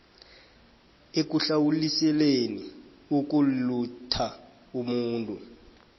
ekuhlawuliseleni ukulutha umuntu